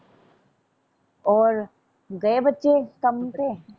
ਓਰ ਗਏ ਬੱਚੇ ਕੰਮ ਤੇ।